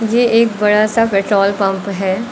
ये एक बड़ा सा पेट्रोल पंप है।